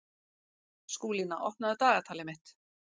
Skúlína, opnaðu dagatalið mitt.